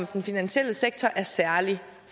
den finansielle sektor er særlig